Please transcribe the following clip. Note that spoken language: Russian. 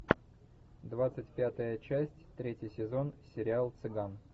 двадцать пятая часть третий сезон сериал цыган